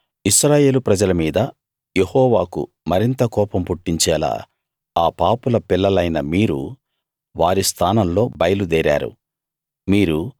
ఇప్పుడు ఇశ్రాయేలు ప్రజల మీద యెహోవాకు మరింత కోపం పుట్టించేలా ఆ పాపుల పిల్లలైన మీరు వారి స్థానంలో బయలుదేరారు